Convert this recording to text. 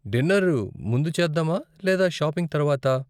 Dinner ముందు చేద్దామా, లేదా షాపింగ్ తర్వాతా?